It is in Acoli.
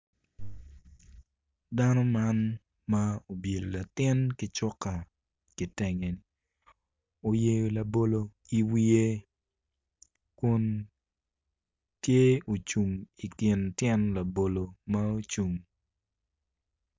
Dano man ma obyelo latin ki cuka kitenge oyeyo labolo iwiye kun tye ocung i kin tyen labolo ma ocung.